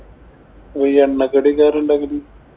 ഈ എണ്ണക്കടിയൊക്കെ ആരാ ഉണ്ടാക്കല്?